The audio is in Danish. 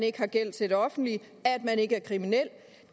ikke har gæld til det offentlige at man ikke er kriminel